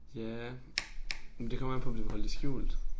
Ja men det kommer an på om du vil holde det skjult